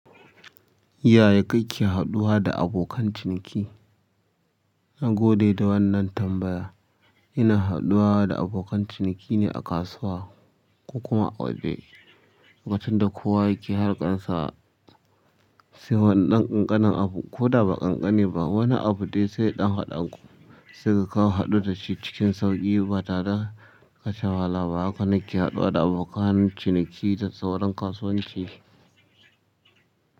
Yaya kake haɗuwa da abokanan ciniki na gode da wannan tambaya. Ina haɗuwa da abokan ciniki ne a kasuwa ko kuma a ofis lokacin da kowa yake harkan sa. Sai wannan ƙanƙanin abu ko da ba ƙanƙani ba, wani abu dai sai ɗan haɗanku. Sai kaga ka haɗu da shi cikin sauƙi ba tare kasha wahala ba. Haka ne ke haɗuwa da abokan ciniki da sauran kasuwanci.